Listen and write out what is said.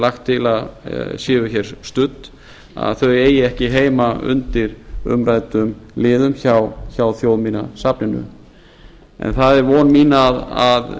lagt til að séu studd eigi ekki heima undir umræddum liðum hjá þjóðminjasafninu en það er von mín að